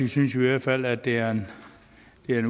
synes vi i hvert fald at det er en